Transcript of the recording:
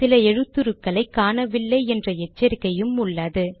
சில எழுத்துருக் களை காணவில்லை என்ற எச்சரிக்கையும் உள்ளது